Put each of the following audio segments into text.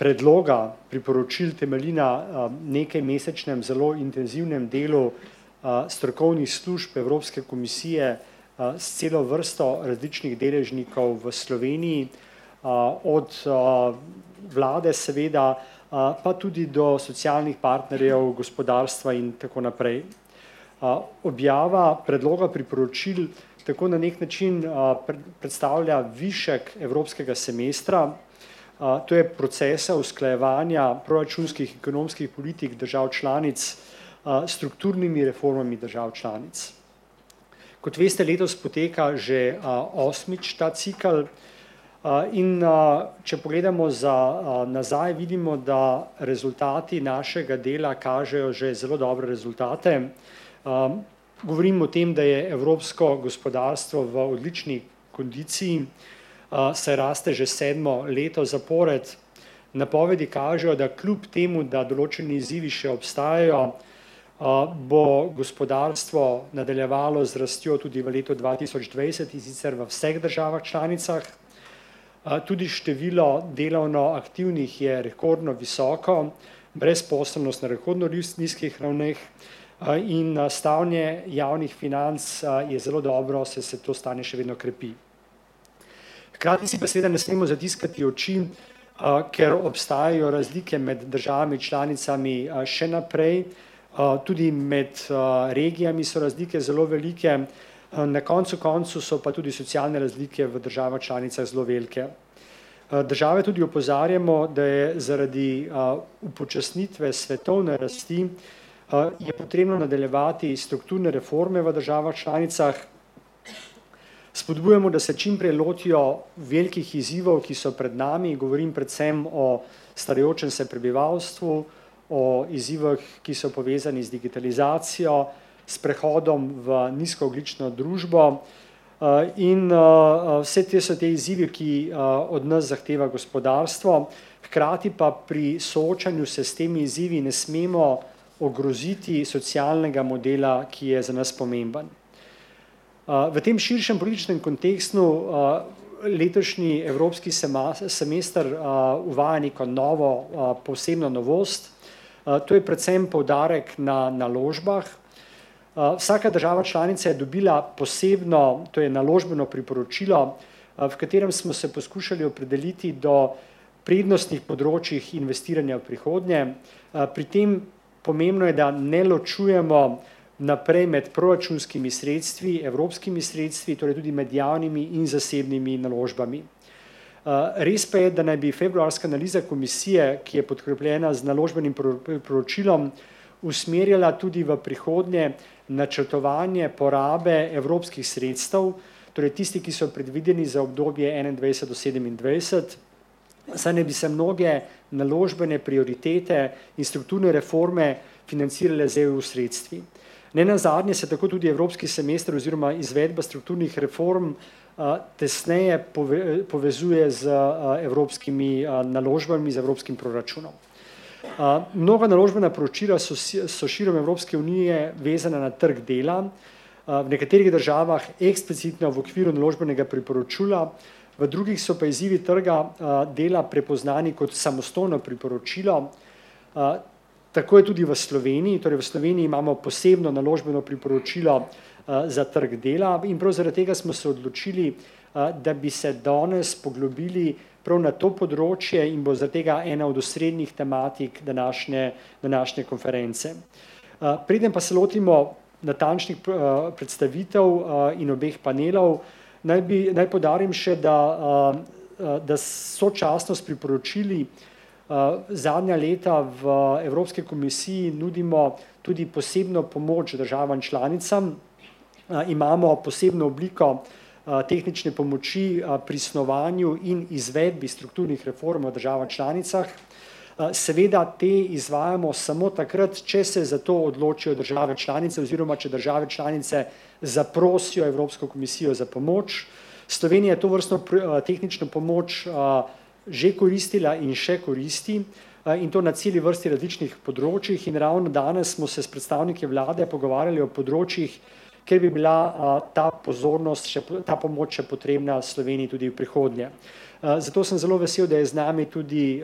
predloga priporočil temelji na, nekajmesečnem zelo intenzivnem delu, strokovnih služb Evropske komisije, s celo vrsto različnih deležnikov v Sloveniji, od, vlade, seveda, pa tudi do socialnih partnerjev, gospodarstva in tako naprej. objava predloga priporočil tako na neki način, predstavlja višek evropskega semestra. to je procesa usklajevanja proračunskih, ekonomskih politik držav članic, s strukturnimi reformami držav članic. Kot veste, letos poteka že, osmič ta cikel, in, če pogledamo za, nazaj, vidimo, da rezultati našega dela kažejo že zelo dobre rezultate. govorim o tem, da je evropsko gospodarstvo v odlični kondiciji, saj raste že sedmo leto zapored. Napovedi kažejo, da kljub temu, da določeni izzivi še ostajajo, bo gospodarstvo nadaljevalo z rastjo tudi v letu dva tisoč dvajset, in sicer v vseh državah članicah. tudi število delovno aktivnih je rekordno visoko, brezposelnost na rekordno nizkih ravneh, in, stanje javnih financ, je zelo dobro, saj se to stanje še vedno krepi. Hkrati si pa seveda ne smemo zatiskati oči, ker obstajajo razlike med državami članicami, še naprej, tudi med, regijami so razlike zelo velike, na koncu koncev so pa tudi socialne razlike v državah članicah zelo velike. države tudi opozarjamo, da je zaradi, upočasnitve svetovne rasti, je potrebno nadaljevati strukturne reforme v državah članicah. Spodbujamo, da se čimprej lotijo velikih izzivov, ki so pred nami, govorim predvsem o starajočem se prebivalstvu, o izzivih, ki so povezani z digitalizacijo, s prehodom v nizkoogljično družbo, in, vse te so ti izzivi, ki od nas zahteva gospodarstvo, hkrati pa pri soočanju se s temi izzivi ne smemo ogroziti socialnega modela, ki je za nas pomemben. v tem širšem političnem kontekstu, letošnji evropski semester, uvaja neko novo, posebno novost, to je predvsem poudarek na naložbah. vsaka država članica je dobila posebno, to je naložbeno priporočilo, v katerem smo se poskušali opredeliti do prednostnih področjih investiranja v prihodnje. pri tem, pomembno je, da ne ločujemo naprej med proračunskimi sredstvi, evropskimi sredstvi, torej tudi med javnimi in zasebnimi naložbami. res pa je, da naj bi februarska analiza komisije, ki je podkrepljena z naložbenim priporočilom, usmerjala tudi v prihodnje načrtovanje porabe evropskih sredstev, torej tisti, ki so predvideni za obdobje enaindvajset do sedemindvajset, saj naj bi se mnoge naložbene prioritete in strukturne reforme financirale z EU-sredstvi. Nenazadnje se tako tudi evropski semester oziroma izvedba strukturnih reform, tesneje povezuje z, evropskimi, naložbami, z evropskim proračunom. nova naložbena priporočila so so širom Evropske unije vezana na trg dela, v nekaterih državah eksplicitno v okviru naložbenega priporočila, v drugih so pa izzivi trga, dela prepoznani kot samostojno priporočilo, tako je tudi v Sloveniji, torej v Sloveniji imamo posebno naložbeno priporočilo, za trg dela in prav zaradi tega smo se odločili, da bi se danes poglobili prav na to področje in bo zaradi tega ena od osrednjih tematik današnje, današnje konference. preden pa se lotimo natančnih predstavitev, in obeh panelov, naj bi, naj poudarim še, da, da sočasno s priporočili, zadnja leta v Evropski komisiji nudimo tudi posebno pomoč državam članicam. imamo posebno obliko, tehnične pomoči, pri snovanju in izvedbi strukturnih reform o državah članicah. seveda te izvajamo samo takrat, če se za to odločijo države članice oziroma če države članice zaprosijo Evropsko komisijo za pomoč. Slovenija to vrsto tehnično pomoč, že koristila in še koristi, in to na celi vrsti različnih področjih in ravno danes smo se s predstavniki vlade pogovarjali o področjih, kjer bi bila, ta pozornost, ta pomoč še potrebna Sloveniji tudi v prihodnje. zato sem zelo vesel, da je z nami tudi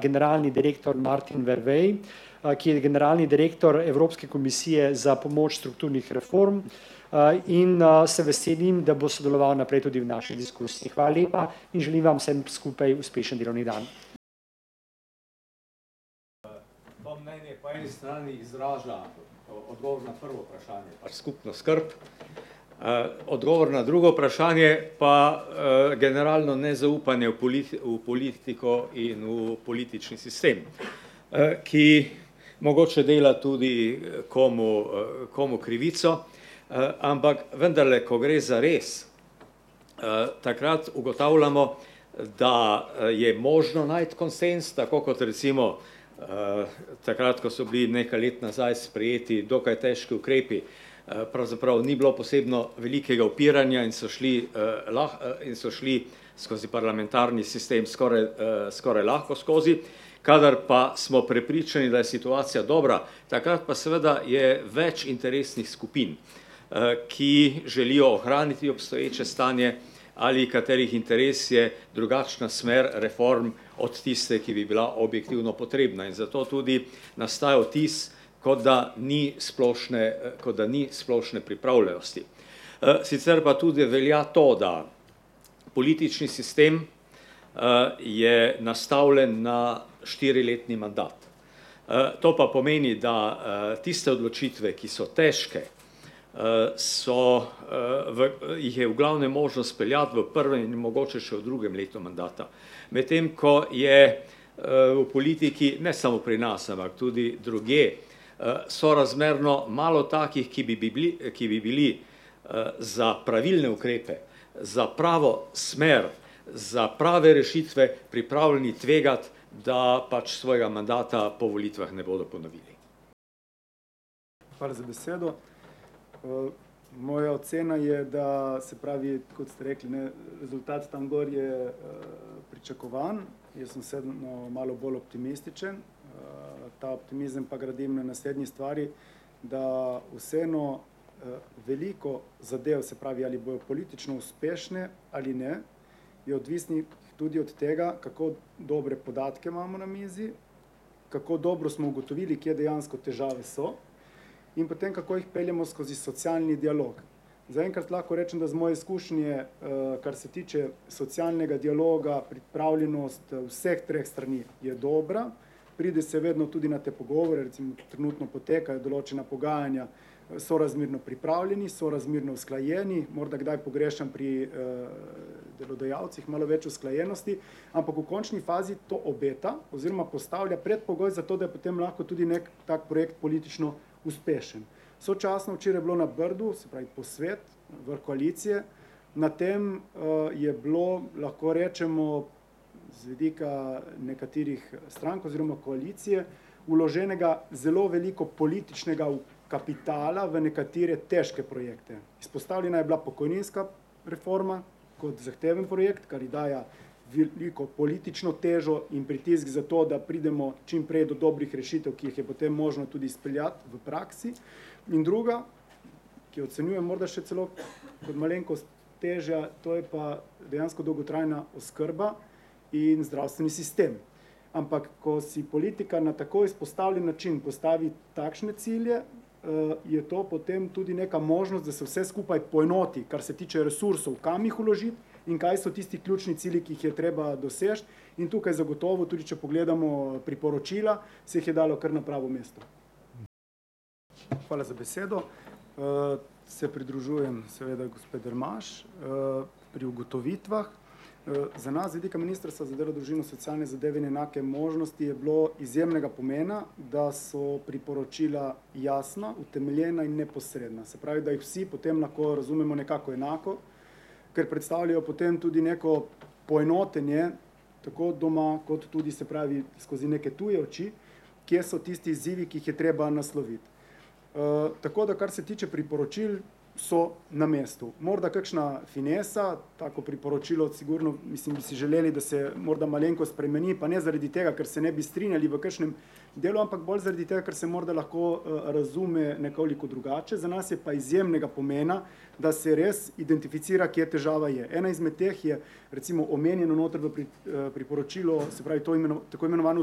generalni, direktor Martin Vervej, ki je generalni direktor Evropske komisije za pomoč strukturnih reform, in, se veselim, da bo sodeloval naprej tudi v naši diskusiji. Hvala lepa in želim vam vsem skupaj uspešen delovni dan. to mnenje po eni strani izraža, odgovor na prvo vprašanje, pač skupno skrb, odgovor na drugo vprašanje pa, generalno nezaupanje v v politiko in v politični sistem. ki mogoče dela tudi, komu, komu krivico, ampak vendarle, ko gre zares, takrat ugotavljamo, da, je možno najti konsenz, tako kot recimo, takrat, ko so bili nekaj let nazaj sprejeti dokaj težko ukrepi, pravzaprav ni bilo posebno velikega upiranja in so šli, in so šli skozi parlamentarni sistem, skoraj, skoraj lahko skozi. Kadar pa smo prepričani, da je situacija dobra, takrat pa seveda je več interesnih skupin, ki želijo ohraniti obstoječe stanje ali katerih interes je drugačna smer reform od tiste, ki bi bila objektivno potrebna in zato tudi nastaja vtis, kot da ni splošne, kot da ni splošne pripravljenosti. sicer pa tudi velja to, da politični sistem, je nastavljen na štiriletni mandat. to pa pomeni, da, tiste odločitve, ki so težke, so, v jih je v glavnem mogoče speljati v prvem in mogoče še v drugem letu mandata. Medtem ko je, v politiki, ne samo pri nas, ampak tudi drugje, sorazmerno malo takih, ki bi bibli, ki bi bili, za pravilne ukrepe, za pravo smer, za prave rešitve pripravljeni tvegati, da pač svojega mandata po volitvah ne bojo ponovili. Hvala za besedo. moja ocena je, da se pravi, kot ste rekli, ne, rezultat tam gor je, pričakovan, jaz sem vseeno malo bolj optimističen, ta optimizem pa gradim na naslednji stvari, da vseeno, veliko zadev, se pravi, ali bodo politično uspešne, ali ne, je odvisnih tudi od tega, kako dobre podatke imamo na mizi, kako dobro smo ugotovili, kje dejansko težave so, in potem, kako jih peljemo skozi socialni dialog. Zaenkrat lahko rečem, da iz mojih izkušenj je, kar se tiče socialnega dialoga, pripravljenost vseh treh strani je dobra. Pride se vedno tudi na te pogovore, recimo tu trenutno potekajo določena pogajanja. sorazmerno pripravljeni, sorazmerno usklajeni, morda kdaj pogrešam pri, delodajalcih malo več usklajenosti. Ampak v končni fazi to obeta oziroma postavlja predpogoj, zato da je potem lahko tudi neki tako projekt politično uspešen. Sočasno včeraj je bilo na Brdu, se pravi posvet, vrh koalicije. Na tem, je bilo, lahko rečemo, z vidika nekaterih strank oziroma koalicije vloženega zelo veliko političnega kapitala v nekatere težke projekte. Izpostavljena je bila pokojninska reforma kot zahteven projekt, kar je daje veliko politično težo in pritisk zato, da pridemo čimprej do dobrih rešitev, ki jih je potem možno tudi speljati v praksi. In druga, ki jo ocenjuje morda še celo kot malenkost težjo, to je pa dejansko dolgotrajna oskrba in zdravstveni sistem. Ampak ko si politika na tako izpostavljen način postavi takšne cilje, je to potem tudi neka možnost, da se vse skupaj poenoti, kar se tiče resursov, kam jih vložiti in kaj so tisti ključni cilji, ki jih je treba doseči. In tukaj zagotovo, tudi če pogledamo priporočila, se jih je dalo kar na pravo mesto. Hvala za besedo, se pridružujem seveda gospe Dremaž, pri ugotovitvah, za nas z vidika ministrstva za delo, družino, socialne zadeve in enake možnosti je bilo izjemnega pomena, da so priporočila jasna, utemeljena in neposredna, se pravi, da jih vsi potem razumemo nekako enako, ker predstavljajo potem tudi neko poenotenje, tako od doma kot tudi, se pravi, skozi neke tuje oči, kje so tisti izzivi, ki jih je treba nasloviti. tako da kar se tiče priporočil, so na mestu. Morda kakšna finesa, tako priporočilo sigurno, mislim, bi si želeli, da se morda malenkost spremeni, pa ne zaradi tega, ker se ne bi strinjali v kakšnem delu, ampak bolj zaradi tega, ker se morda lahko, razume nekoliko drugače, za nas je pa izjemnega pomena, da se res identificira, kje težava je. Ena izmed teh je recimo omenjeno noter v v priporočilu, se pravi, to tako imenovano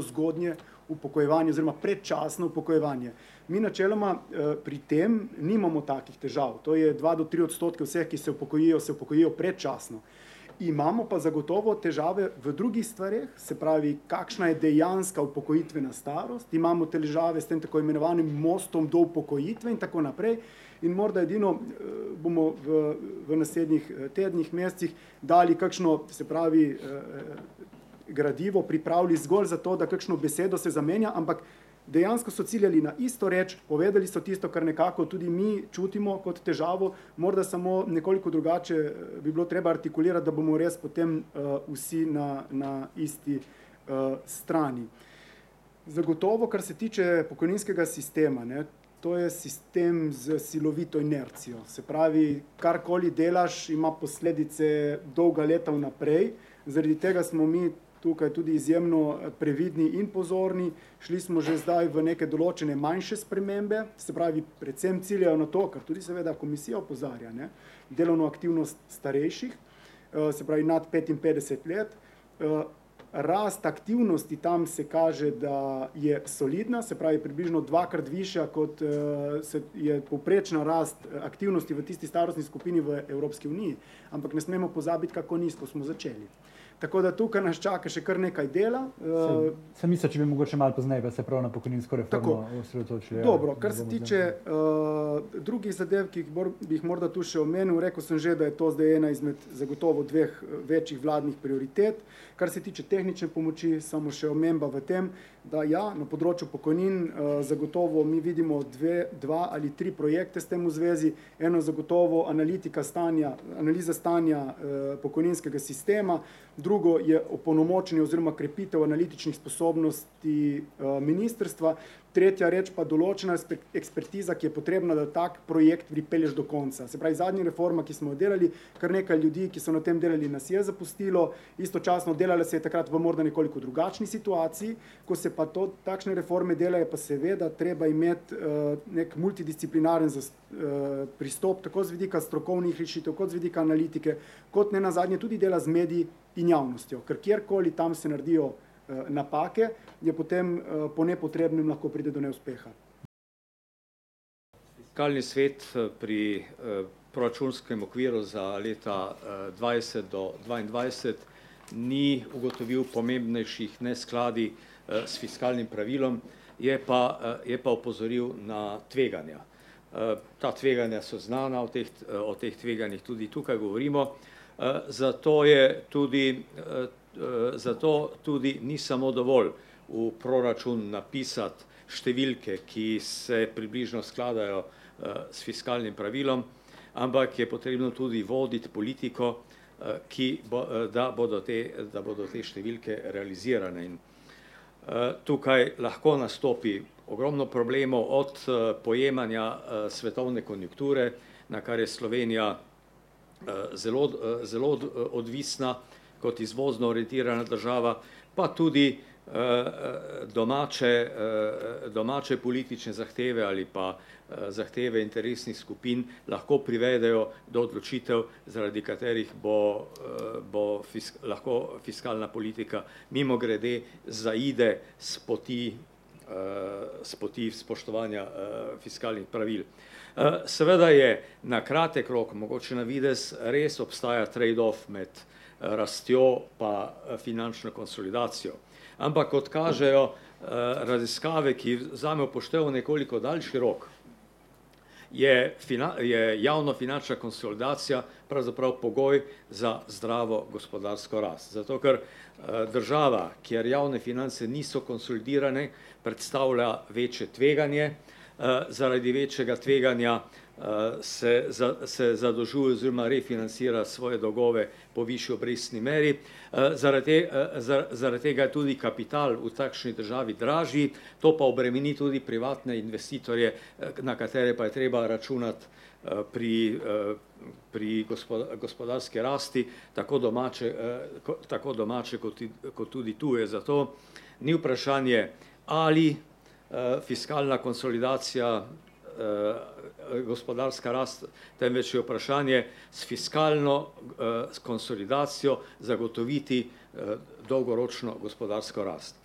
zgodnje upokojevanje oziroma predčasno upokojevanje. Mi načeloma, pri tem nimamo takih težav, to je dva do tri odstotke vseh, ki se upokojijo, se upokojijo predčasno. Imamo pa zagotovo težave v drugih stvareh, se pravi, kakšna je dejanska upokojitvena starost, imamo težave s tem tako imenovanim mostom do upokojitve in tako naprej. In morda edino, bomo v, naslednjih, tednih, mesecih dali kakšno, se pravi, gradivo pripravili zgolj za to, da kakšno besedo se zamenja, ampak dejansko so ciljali na isto reč, povedali so tisto, kar nekako tudi mi čutimo kot težavo, morda samo nekoliko drugače, bi bilo treba artikulirati, da bomo res potem, vsi na, na isti, strani. Zagotovo, kar se tiče pokojninskega sistema, ne. To je sistem s silovito inercijo. Se pravi, karkoli delaš, ima posledice dolga leta vnaprej, zaradi tega smo mi tukaj tudi izjemno previdni in pozorni. Šli smo že zdaj v neke določene manjše spremembe, se pravi predvsem ciljajo na to, kar seveda tudi komisija opozarja, ne. Delovno aktivnost starejših, se pravi nad petinpetdeset let, Rast aktivnosti tam, se kaže, da je solidna, se pravi približno dvakrat višja, kot, se je povprečna rast aktivnosti v tisti starostni skupini v Evropski uniji, ampak ne smemo pozabiti, kako nizko smo začeli. Tako da tukaj nas čaka še kar nekaj dela. Dobro, kar se tiče, drugih zadev, ki bi jih bi jih morda tu še omenil, rekel sem že, da je to zdaj ena izmed zagotovo dveh večjih vladnih prioritet, kar se tiče tehnične pomoči, samo še omemba v tem, da ja, na področju pokojnin, zagotovo mi vidimo dve, dva ali tri projekte s tem v zvezi. Eno zagotovo analitika stanja, analiza stanja, pokojninskega sistema, drugo je opolnomočenje oziroma krepitev analitičnih sposobnosti, ministrstva, tretja reči pa določena ekspertiza, ki je potrebna, da tako projekt pripelješ do konca, se pravi, zadnja reforma, ki smo jo delali, kar nekaj ljudi, ki so na tem delali, nas je zapustilo. Istočasno delala se je takrat morda nekoliko drugačni situaciji, ko se pa to, takšne reforme delajo, pa seveda treba imeti, neki multidisciplinarni pristop, tako z vidika strokovnih rešitev kot z vidika analitike. Kot nenazadnje tudi dela z mediji in javnostjo, ker kjer koli tam se naredijo, napake, je potem, po nepotrebnem lahko pride do neuspeha. Fiskalni svet, pri, proračunskem okviru za leta, dvajset do dvaindvajset ni ugotovil pomembnejših neskladij, s fiskalnim pravilom, je pa, je pa opozoril na tveganja. ta tveganja so znana o teh, o teh tveganjih tudi tukaj govorimo. zato je tudi, zato tudi ni samo dovolj v proračun napisati številke, ki se približno skladajo, s fiskalnim pravilom, ampak je potrebno tudi voditi politiko, ki bo, da bodo te, da bodo te številke realizirane. tukaj lahko nastopi ogromno problemov od, pojemanja, svetovne konjunkture, na kar je Slovenija, zelo, zelo odvisna kot izvozno orientirana država pa tudi, domače, domače politične zahteve ali pa, zahteve interesnih skupin, lahko privedejo do odločitev, zaradi katerih bo, bo lahko fiskalna politika mimogrede zaide s poti, s poti spoštovanja, fiskalnih pravil. seveda je na kratek rok, mogoče navidez res obstaja trade off med, rastjo pa finančno konsolidacijo, ampak kot kažejo, raziskave, ki vzamejo v poštev nekoliko daljši rok, je je javnofinančna konsolidacija pravzaprav pogoj za zdravo gospodarsko rast, zato ker, država, kjer javne finance niso konsolidirane, predstavlja večje tveganje, zaradi večjega tveganja, se za se oziroma refinancira svoje dolgove po višji obrestni meri. zaradi zaradi, zaradi tega je tudi kapital v takšni državi dražji, to pa obremeni tudi privatne investitorje, na katere pa je treba računati, pri, pri gospodarski rasti tako domače, tako domače kot kot tudi tuje, zato ni vprašanje, ali, fiskalna konsolidacija, gospodarska rast, temveč je vprašanje s fiskalno, s konsolidacijo zagotoviti, dolgoročno gospodarsko rast.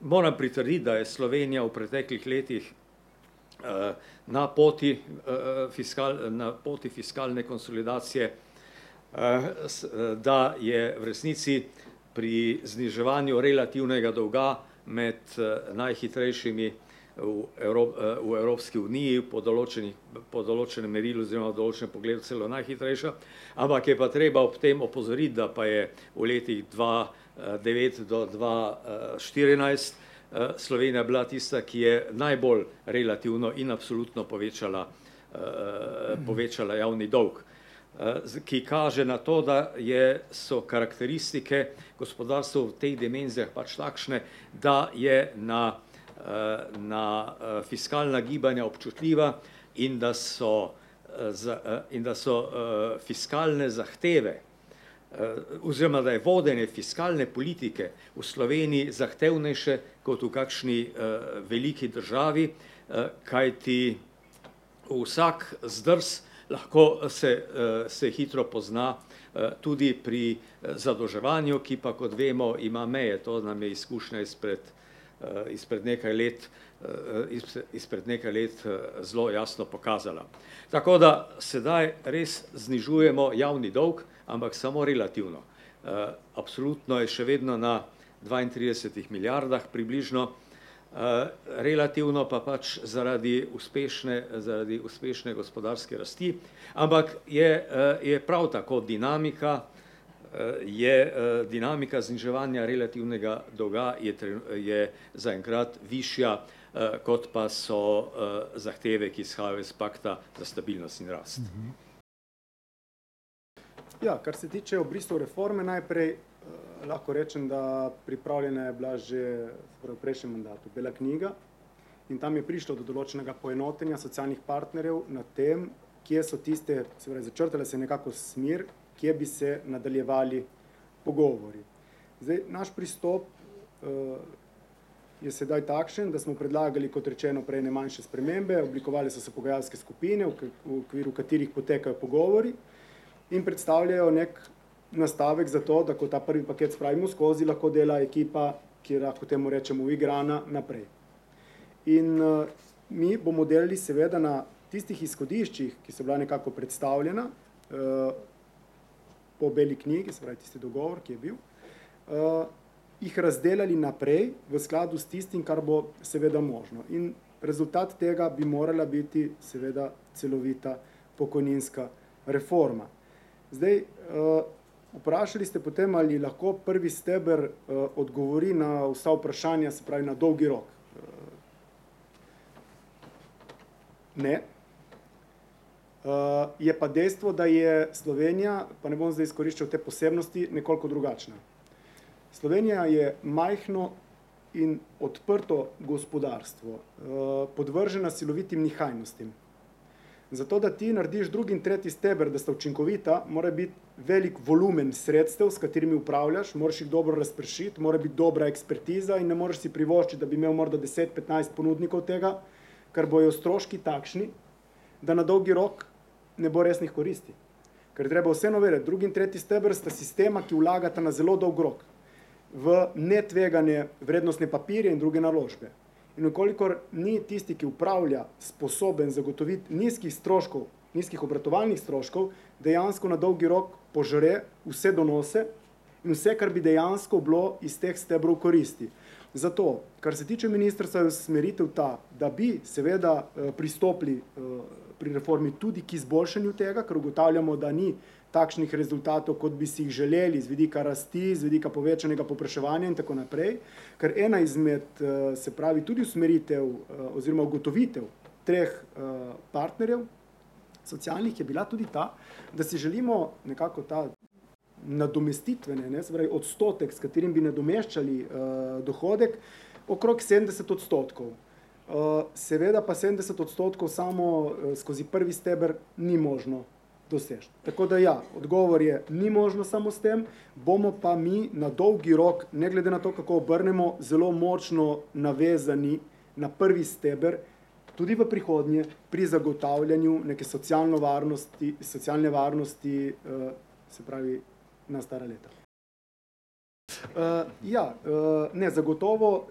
moram pritrditi, da je Slovenija v preteklih letih, na poti, na poti fiskalne konsolidacije, s, da je v resnici pri zniževanju relativnega dolga med, najhitrejšimi v v Evropski uniji pod določenih, po določenem merilu oziroma določenem pogledu celo najhitrejša. Ampak je pa treba ob tem opozoriti, da pa je v letih dva devet, do dva, štirinajst, Slovenija bila tista, ki je najbolj relativno in absolutno povečala, povečala javni dolg. ki kaže na to, da je, so karakteristike gospodarstev v teh dimenzijah pač takšne, da je na, na, fiskalna gibanja občutljiva in da so, za in da so, fiskalne zahteve, oziroma da je vodenje fiskalne politike v Sloveniji zahtevnejše kot v kakšni, veliki državi, kajti vsak zdrs lahko, se, se hitro pozna, tudi pri, zadolževanju, ki pa, kot vemo, ima meje, to nam je izkušnja izpred, izpred nekaj let, izpred nekaj let, zelo jasno pokazala. Tako da sedaj res znižujemo javni dolg, ampak samo relativno. absolutno je še vedno na dvaintridesetih milijardah približno, relativno pa pač zaradi uspešne, zaradi uspešne gospodarske rasti, ampak je, je prav tako dinamika, je, dinamika zniževanja relativnega dolga je je zaenkrat višja, kot pa so, zahteve, ki izhajajo iz pakta za stabilnost in rast. Ja, kar se tiče v bistvu reforme, najprej, lahko rečem, da pripravljena je bila že torej v prejšnjem mandatu, bela knjiga, in tam je prišlo do določenega poenotenja socialnih partnerjev na tem, kje so tiste, se pravi, začrtala se je nekako smer, kje bi se nadaljevali pogovori. Zdaj naš pristop, je sedaj takšen, da smo predlagali, kot rečeno prej, ne, manjše spremembe, oblikovale so se pogajalske skupine, v okviru katerih potekajo pogovori in predstavljajo neki nastavek za to, da ko ta prvi paket spravimo skozi, lahko dela ekipa, ki je lahko temu rečemo, uigrana, naprej. In, mi bomo delali seveda na tistih izhodiščih, ki so bila nekako predstavljena, po beli knjigi, se pravi tisti dogovor, ki je bil. jih razdelali naprej v skladu s tistim, kar bo seveda možno in rezultat tega bi morala biti seveda celovita pokojninska reforma. Zdaj, vprašali ste potem, ali lahko prvi steber, odgovori na vsa vprašanja, se pravi na dolgi rok. Ne. je pa dejstvo, da je Slovenija, pa ne bom zdaj izkoriščal te posebnosti, nekoliko drugačna. Slovenija je majhno in odprto gospodarstvo, podvržena silovitim nihajnostim. Zato da ti narediš drugi in tretji steber, da sta učinkovita, mora biti veliko volumen sredstev, s katerimi upravljaš, moraš jih dobro razpršiti, mora biti dobra ekspertiza in ne moreš si privoščiti, da bi imel morda deset, petnajst ponudnikov tega, ker bojo stroški takšni, da na dolgi rok ne bo resnih koristi, ker je treba vse novele, drugi in tretji steber sta sistema, ki vlagata na zelo dolg rok. V netveganje, vrednostne papirje in druge naložbe. In v kolikor ni tisti, ki opravlja, sposoben zagotoviti nizkih stroškov, nizkih obratovalnih stroškov, dejansko na dolgi rok požre vse donose in vse, kar bi dejansko bilo iz teh stebrov koristi. Zato, kar se tiče ministrstva, je usmeritev ta, da bi seveda, pristopili pri reformi tudi k izboljšanju tega, ker ugotavljamo, da ni takšnih rezultatov, kot bi si jih želeli z vidika rasti, z vidika povečanega povpraševanja in tako naprej. Ker ena izmed, se pravi tudi usmeritev, oziroma ugotovitev treh, partnerjev, socialnih je bila tudi ta, da si želimo nekako ta nadomestitvene, ne, se pravi odstotek, s katerim bi nadomeščali, dohodek, okrog sedemdeset odstotkov. seveda pa sedemdeset odstotkov samo skozi prvi steber ni možno doseči. Tako da ja, odgovor je ni možno samo s tem, bomo pa mi na dolgi rok, ne glede na to, kako obrnemo, zelo močno navezani na prvi steber tudi v prihodnje pri zagotavljanju neke socialno varnosti, socialne varnosti, se pravi na stara leta. ja, ne, zagotovo,